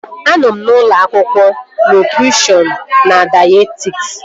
Anọ m na dịpatmentị nke nutrishọn na dayetetiks